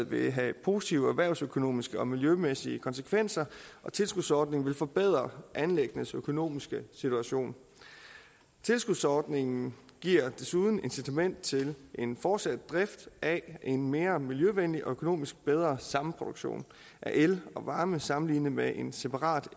vil have positive erhvervsøkonomiske og miljømæssige konsekvenser og tilskudsordningen vil forbedre anlæggenes økonomiske situation tilskudsordningen giver desuden incitament til en fortsat drift af en mere miljøvenlig og økonomisk bedre samproduktion af el og varme sammenlignet med en separat